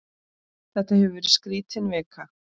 Þetta hefur verið skrítin vika.